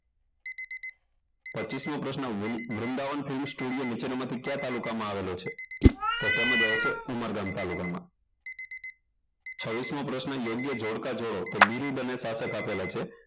પચીસ મો પ્રશ્ન વૃંદાવન હિસ્ટોરિયો નીચેનામાંથી કયા તાલુકામાં આવેલો છે તો તેમાં જવાબ આવશે ઉમરગામ તાલુકામાં છવ્વીસ સ મો પ્રશ્ન યોગ્ય જોડકા જોડો બિરુદ અને સ્થાપક આપેલા છે